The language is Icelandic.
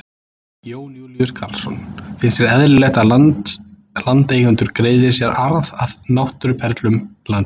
Jón Júlíus Karlsson: Finnst þér eðlilegt að landeigendur greiði sér arð af náttúruperlum landsins?